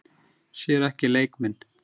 Sér ekki leik minn.